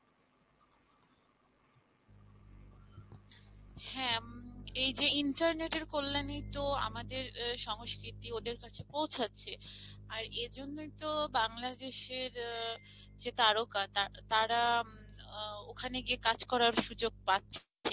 হ্যাঁঁ উম এই যে internet এর কল্যাণেই তো আমাদের সংস্কৃতি ওদের কাছে পৌঁছাচ্ছে, আর এজন্যই তো বাংলাদেশের আহ যে তারকা তারা আহ ওখানে গিয়ে কাজ করার সুযোগ পাচ্ছে।